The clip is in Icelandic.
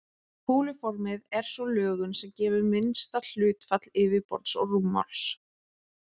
Kúluformið er sú lögun sem gefur minnsta hlutfall yfirborðs og rúmmáls.